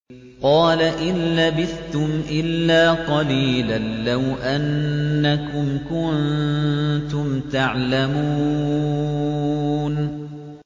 قَالَ إِن لَّبِثْتُمْ إِلَّا قَلِيلًا ۖ لَّوْ أَنَّكُمْ كُنتُمْ تَعْلَمُونَ